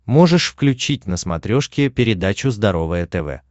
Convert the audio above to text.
можешь включить на смотрешке передачу здоровое тв